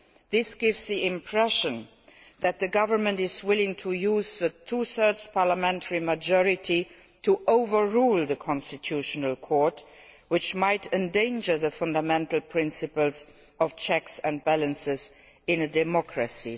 This gives the impression that the government is willing to use the two thirds parliamentary majority to overrule the Constitutional Court, which might endanger the fundamental principle of checks and balances in a democracy.'